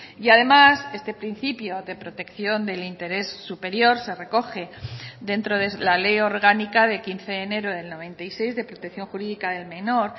y además este principio de protección del interés superior se recoge dentro de la ley orgánica de quince de enero del noventa y seis de protección jurídica del menor